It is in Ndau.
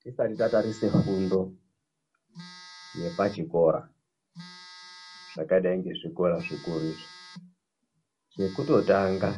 Tisati tatarise fundo yepachikora, zvakadai ngezvikora zvikuru izvi. Chekutotanga